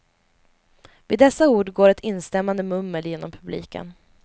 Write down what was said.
Vid dessa ord går ett instämmande mummel genom publiken.